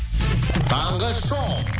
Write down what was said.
таңғы шоу